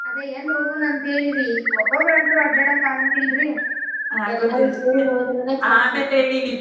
ಆದ ಎಲ್ಲಿ ಹೋಗುಣಂತ ಹೇಳಿರಿ ಒಬ್ಬೊಬ್ಬರಂತೂ ಆಡ್ಯಡಾಕ ಆಗಾಂಗಿಲ್ರಿ